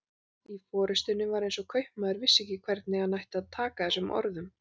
Í fyrstunni var eins og kaupmaður vissi ekki hvernig hann ætti að taka þessum orðum.